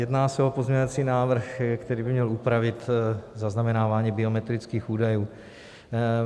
Jedná se o pozměňovací návrh, který by měl upravit zaznamenávání biometrických údajů.